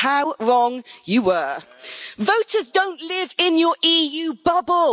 How wrong you were voters don't live in your EU bubble.